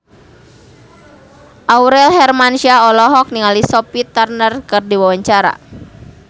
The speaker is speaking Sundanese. Aurel Hermansyah olohok ningali Sophie Turner keur diwawancara